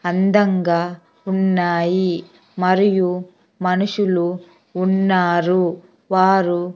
అందంగా ఉన్నాయి మరియు మనుషులు ఉన్నారు. వారు --